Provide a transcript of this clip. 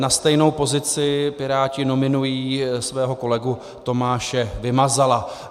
Na stejnou pozici Piráti nominují svého kolegu Tomáše Vymazala.